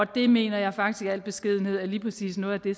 det mener jeg faktisk i al beskedenhed er lige præcis noget af det